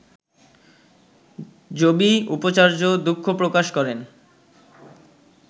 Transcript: জবি উপাচার্য দুঃখ প্রকাশ করেন